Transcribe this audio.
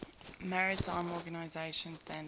maritime organization standards